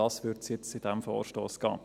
Darum würde es in diesem Vorstoss gehen.